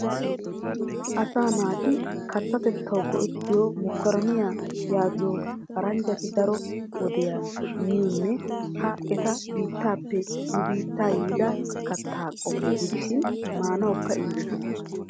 Asaa naati kattatetawu go"ettiyo mokoroniya yaagiyo paranjati daro wode miyonne ha eta biittaappe ne biitta yiida katya qommo gidishin maanawukka injetes.